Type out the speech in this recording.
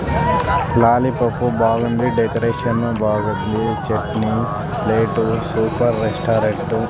Lollipop బాగుంది decoration బాగుంది chutney plate super restaurant .